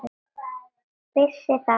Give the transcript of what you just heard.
Vissi það.